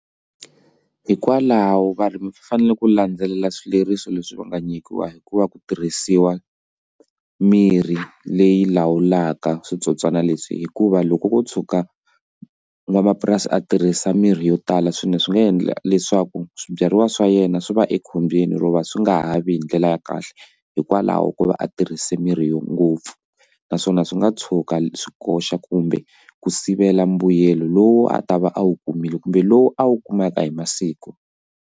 Hikwalaho varimi va fanele ku landzelela swileriso leswi va nga nyikiwa hikuva ku tirhisiwa mirhi leyi lawulaka switsotswana leswi hikuva loko ko tshuka n'wamapurasi a tirhisa mirhi yo tala swilo swi nga endla leswaku swibyariwa swa yena swi va ekhombyeni ro va swi nga ha vi hi ndlela ya kahle hikwalaho ko va a tirhisa mirhi yo ngopfu naswona swi nga tshuka swi koxa kumbe ku sivela mbuyelo lowu a ta va a wu kumile kumbe lowu a wu kumaka hi masiku.